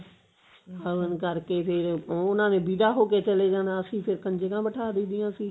ਹਵਨ ਕਰਕੇ ਫ਼ੇਰ ਉਹਨਾ ਨੇ ਦੀ ਵਿਦਾ ਹੋ ਕਿ ਚਲੇ ਜਾਣਾ ਅਸੀਂ ਫ਼ੇਰ ਕੰਜਕਾ ਬੈਠਾ ਦਈ ਦੀਆਂ ਸੀ